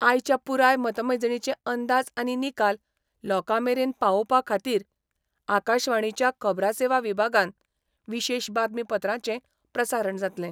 आयच्या पूराय मतमेजणीचे अंदाज आनी निकाल लोकामेरेन पावोपा खातीर आकाशवाणिच्या खबरासेवा विभागान विशेष बातमी पत्रांचे प्रसारण जातले.